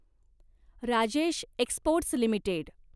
Rajesh exports limited